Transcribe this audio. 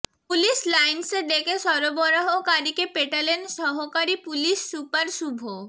police লাইন্সে ডেকে সরবরাহকারিকে পেটালেন সহকারি পুলিশ সুপার শুভ